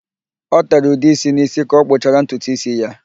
O tere ude ísí n'ísí ka ọ kpụchara ntutu ísí ya.